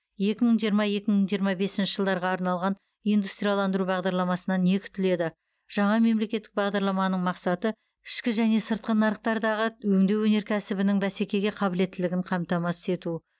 екі мың жиырма екі мың жиырма бесінші жылдарға арналған индустрияландыру бағдарламасынан не күтіледі жаңа мемлекеттік бағдарламаның мақсаты ішкі және сыртқы нарықтардағы өңдеу өнеркәсібінің бәсекеге қабілеттілігін қамтамасыз ету